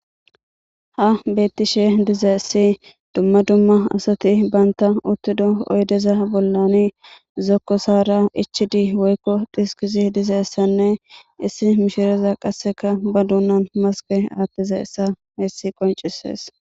Ha betishe dizaysi dumma dumma asati banta utida oydeza bollani zokosara ichidi woykon dhiskidi dizaysanne issi mishiriyak ba dunan maske athizaysa haysi qonc'ises.